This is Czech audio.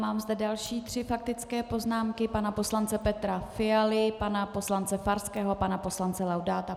Mám zde další tři faktické poznámky - pana poslance Petra Fialy, pana poslance Farského a pana poslance Laudáta.